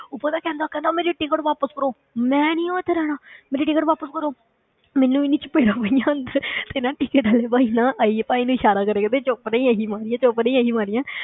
ਉਹ ਪਤਾ ਕਹਿੰਦਾ ਕਹਿੰਦਾ ਮੇਰੀ ticket ਵਾਪਸ ਕਰੋ, ਮੈਂ ਨੀ ਉਹ ਇੱਥੇ ਰਹਿਣਾ ਮੇਰੀ ticket ਵਾਪਸ ਕਰੋ ਮੈਨੂੰ ਇੰਨੀ ਚਪੇੜਾਂ ਪਈਆਂ ਅੰਦਰ ਤੇ ਨਾ ticket ਵਾਲੇ ਭਾਈ ਨਾਲ ਆਈਏ ਭਾਈ ਨੇ ਇਸ਼ਾਰਾ ਕਰਿਆ ਕਹਿੰਦੇ ਚੁੱਪ ਰਹੀਂ ਅਸੀਂ ਮਾਰੀਆਂ, ਚੁੱਪ ਰਹੀਂ ਅਸੀਂ ਮਾਰੀਆਂ